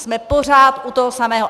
Jsme pořád u toho samého.